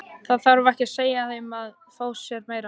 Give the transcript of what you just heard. Það þarf ekki að segja þeim að fá sér meira.